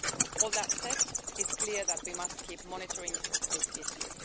All that said, it's clear that we must keep monitoring this issue.